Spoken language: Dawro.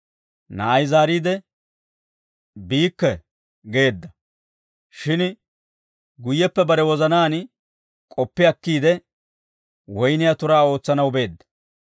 Na'ay zaariide, ‹Biikke› geedda; shin guyyeppe bare wozanaan k'oppi akkiide, woyniyaa turaa ootsanaw beedda.